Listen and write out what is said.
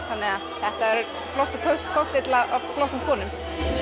þannig að þetta er flottur kokteill af flottum konum